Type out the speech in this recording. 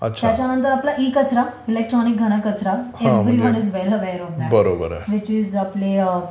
त्याच्यानंतर आपला इ-कचरा, इलेकट्रोनिक घन कचरा, everyone is well aware of that. Which is आपले अ